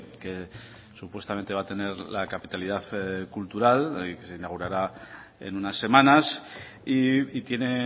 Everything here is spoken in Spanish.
que supuestamente va a tener la capitalidad cultural que se inaugurará en unas semanas y tiene